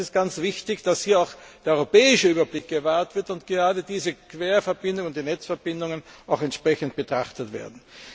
Es ist ganz wichtig, dass hier auch der europäische Überblick gewahrt wird und gerade diese Querverbindungen und die Netzverbindungen entsprechend betrachtet werden.